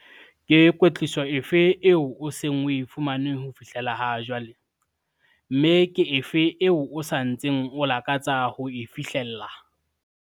Ke kwetliso efe eo o seng o e fumane ho fihlela jwale, mme ke efe eo o sa ntseng o lakatsa ho e fihlella?